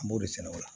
An b'o de sɛnɛ o la